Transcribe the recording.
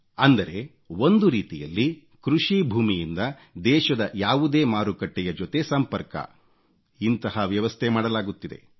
ಅಂದರೆ ಒಂದು ರೀತಿಯಲ್ಲಿ ಕೃಷಿ ಭೂಮಿಯಿಂದ ದೇಶದ ಯಾವುದೇ ಮಾರುಕಟ್ಟೆಯ ಜೊತೆ ಸಂಪರ್ಕ ಇಂತಹ ವ್ಯವಸ್ಥೆ ಮಾಡಲಾಗುತ್ತಿದೆ